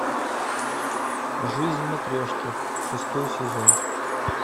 жизнь матрешки шестой сезон